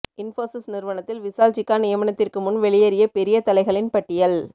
இன்போசிஸ் நிறுவனத்தில் விஷால் சிக்கா நியமனத்திற்கு முன் வெளியேறிய பெரிய தலைகளின் பட்டியல்